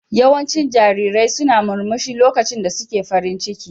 Yawancin jarirai suna murmushi lokacin da suke farin ciki.